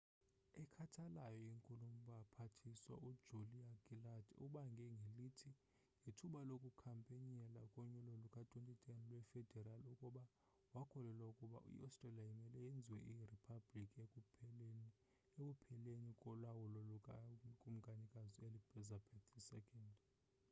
ekhathalayo inkulubaphathiswa u julia gillard ubange ngelithi ngethuba lokukhampeynela konyulo luka 2010 lwe federal ukuba wakholelwa ukuba i-australia imele yenziwe iriphablikhi ekupheleni kolawulo luka kumkanikazi u-elizabeth ii